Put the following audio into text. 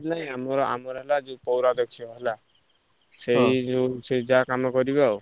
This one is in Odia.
ନା ଆମର ଆମର ହେଲା ଯୋଉ ପୌରାଦକ୍ଷ ହେଲା। ସେଇ ଯୋଉ ସେଇ ଯାହା କାମ କରିବେ ଆଉ।